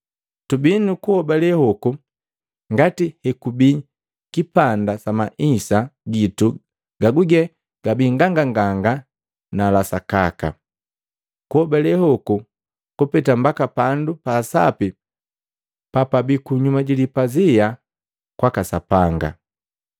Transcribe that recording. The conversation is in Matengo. Tubii nu kuhobale hoku ngati hekubii kipanda sa maisa gitu gaguge gabii nganganganga na la sakaka. Kuhobale hoku kupeta mbaka pandu pa sapi papabi kunyuma jilipazia kuna kwaka Sapanga.